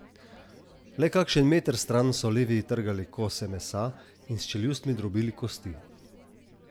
Le kakšen meter stran so levi trgali kose mesa in s čeljustmi drobili kosti.